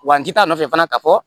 Wa n ti taa'a nɔfɛ fana ka fɔ